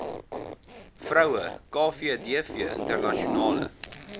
vroue kvdv internasionale